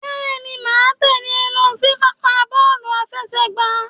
Bẹ́ẹ̀ni, màá tẹ̀lé ẹ lọ sí pápá bọ́ọ̀lù àfẹsẹ̀gbá.